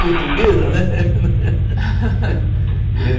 Portuguesa, né?